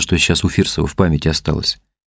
что сейчас у фирсова в памяти осталось